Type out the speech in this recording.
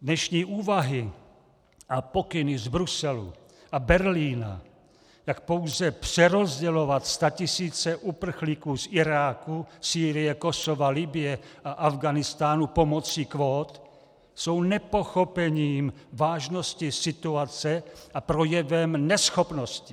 Dnešní úvahy a pokyny z Bruselu a Berlína tak pouze přerozdělovat statisíce uprchlíků z Iráku, Sýrie, Kosova, Libye a Afghánistánu pomocí kvót jsou nepochopením vážnosti situace a projevem neschopnosti.